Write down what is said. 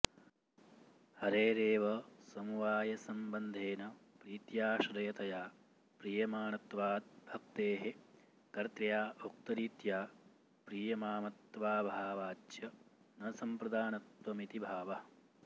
हरेरेव समवायसंबन्धेन प्रीत्याश्रयतया प्रीयमाणत्वाद्भक्तेः कर्त्र्या उक्तरीत्या प्रीयमामत्वाऽभावाच्च न संप्रदानत्वमिति भावः